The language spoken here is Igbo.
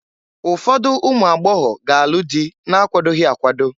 Ụfọdụ ụmụagbọgọbịa ga-alụ dị na-akwadoghi akwado.